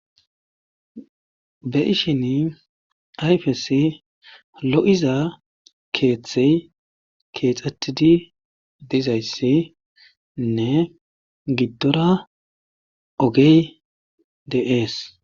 be ishin ayfes lo7iza keeththey keexxatidi dizayssiinne giddora ogey de7ees